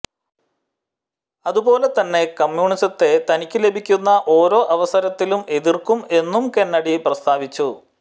അതുപോലെ തന്നെ കമ്മ്യൂണിസത്തെ തനിക്കു ലഭിക്കുന്ന ഓരോ അവസരത്തിലും എതിർക്കും എന്നും കെന്നഡി പ്രസ്താവിച്ചു